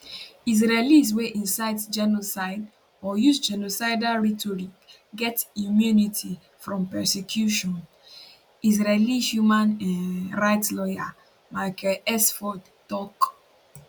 israelis wey incite genocide or use genocidal rhetoric get immunity from prosecution israeli human um rights lawyer michael sfard tok